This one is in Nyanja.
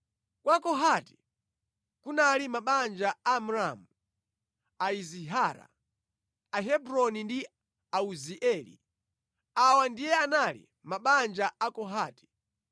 Kwa Kohati kunali mabanja a Amramu, Aizihara, Ahebroni ndi Auzieli. Awa ndiye anali mabanja a Akohati.